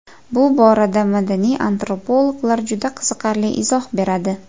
Bu borada madaniy antropologlar juda qiziqarli izoh beradi.